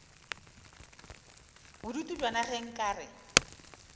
bodutu bjona ge nka re